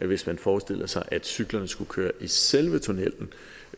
hvis man forestillede sig at cyklerne skulle køre i selve tunnellen